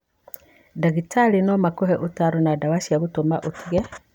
Ndagĩtarĩ no makũhe ũtaaro na ndawa cia gũgũteithia ũtige.